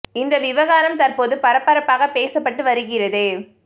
இந்த விவகாரம் தற்போது பரபரப்பாக பேசப்பட்டு வருகிறது